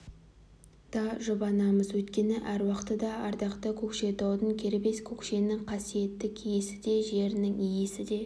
да жұбанамыз өйткені әруақты да ардақты көкшетаудың кербез көкшенің қасиетті киесі де жерінің иесі де